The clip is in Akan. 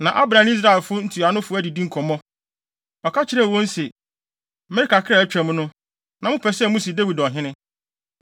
Na Abner ne Israel ntuanofo adidi nkɔmmɔ. Ɔka kyerɛɛ wɔn se, “Mmere kakra a atwam no, na mopɛ sɛ musi Dawid ɔhene.